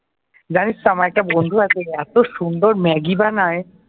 জানিস তো আমার একটা বন্ধু আছে, এত সুন্দর ম্যাগি বানায়।